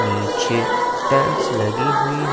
नीचे टाइल्स लगी हुई है।